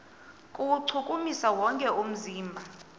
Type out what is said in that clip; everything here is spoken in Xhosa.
kuwuchukumisa wonke umzimba